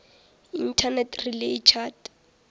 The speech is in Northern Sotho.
internet relay chat